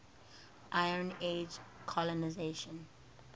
iron age colonisation